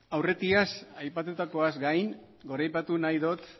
aurretiaz aipatutakoaz gain goraipatu nahi dot